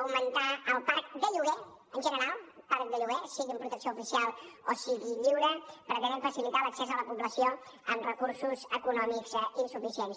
augmentar el parc de lloguer en general parc de lloguer sigui en protecció oficial o sigui lliure pretenem facilitar l’accés a la població amb recursos econòmics insuficients